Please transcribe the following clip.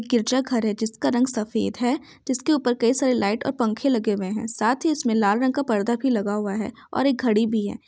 गिरजाघर है जिसका रंग सफ़ेद है जिसके ऊपर कई सारे लाइट और पंखे लगे हुए है साथ ही उसमे लाल रंग का पर्दा भी लगा हुआ है और एक घड़ी भी है।